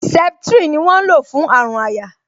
Septrin ni wọ́n ń lò fún àrùn àyà